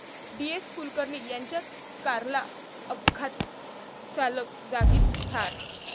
डी.एस.कुलकर्णी यांच्या कारला अपघात, चालक जागीच ठार